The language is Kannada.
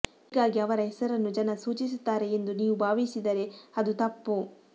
ಹೀಗಾಗಿ ಅವರ ಹೆಸರನ್ನು ಜನ ಸೂಚಿಸುತ್ತಾರೆ ಎಂದು ನೀವು ಭಾವಿಸಿದರೆ ಅದು ತಪ್ಪು